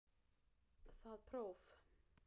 Það próf